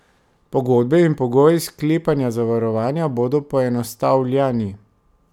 Pogodbe in pogoji sklepanja zavarovanja bodo poenostavljani.